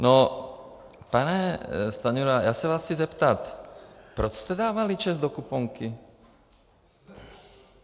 No, pane Stanjura, já se vás chci zeptat, proč jste dávali ČEZ do kuponky?